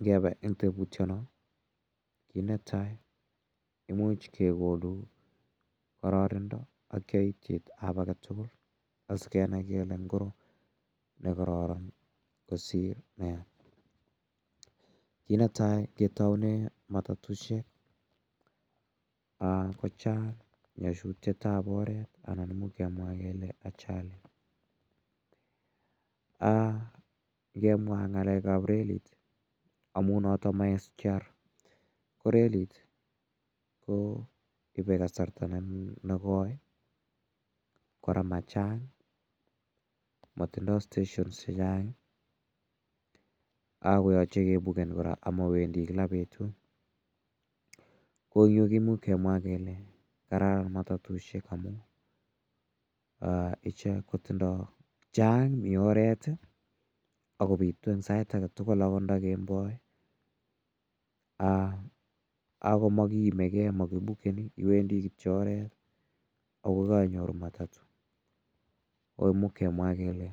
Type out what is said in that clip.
Ngepe eng' teputiano, kit ne tai imuch kekonu kararanindo ak yaityet ap age tugul asikenai kele ngoro ne kararan kosir ne ya. Kiit ne tai ketaune matatushek, ko chang' nyasutiet ap oret, imuch kemwa kele (ajali). Ngemwa ng'alek ap relit amu notok ma SGR ko relit ko ipe kasarta ne koi. Kora ma chang', matindai steshonishek che chang' ako yache kepuken kora ama wendi kila petut. Ko yu kimuch kemwa kele kararan matatushek amu ichek ko tindai, chang' mi oret i, ako pitu en sait age tugul akot nda kemboi ako ma kiimi gei makipukeni. Iwendi kityo oret ako ka inyoru matatu. Ko imuch kemwa kele